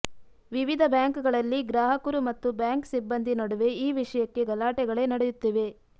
ವಿವಿಧ ಬ್ಯಾಂಕ್ಗಳಲ್ಲಿ ಗ್ರಾಹಕರು ಮತ್ತು ಬ್ಯಾಂಕ್ ಸಿಬ್ಬಂದಿ ನಡುವೆ ಈ ವಿಷಯಕ್ಕೆ ಗಲಾಟೆಗಳೇ ನಡೆಯುತ್ತಿವೆ